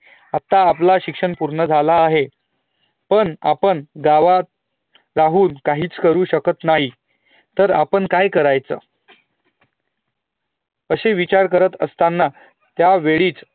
आता आपलं शिक्षण पूर्ण झालं आहे पण आपणं गावात राहून काहीच करू शकत नाही, तर आपणं काई करायचं अशी विचार करत असताना त्या वेळीच